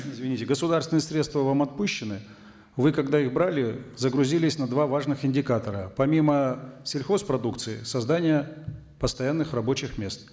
извините государственные средства вам отпущены вы когда их брали загрузились на два важных индикатора помимо сельхозпродукции создание постоянных рабочих мест